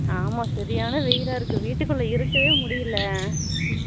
ஆமா சரியான வெயில்லா இருக்கு வீட்டுக்குல்ல இருக்கவே முடியல